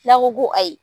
N'a ko ko ayi